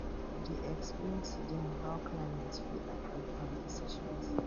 we dey explain to dem how climate fit affect farm decisions